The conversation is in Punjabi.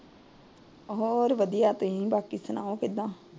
ਹੋਰ ਵਧੀਆ, ਤੁਸੀਂ ਬਾਕੀ ਸੁਣਾਓ ਕਿਦਾਂ?